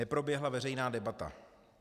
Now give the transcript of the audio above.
Neproběhla veřejná debata.